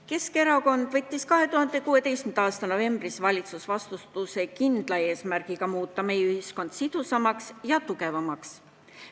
Keskerakond võttis 2016. aasta novembris valitsusvastutuse kindla eesmärgiga muuta meie ühiskond sidusamaks ja tugevamaks.